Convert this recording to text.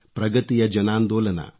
ಪ್ರಗತಿಯ ಜನಾಂದೋಲನ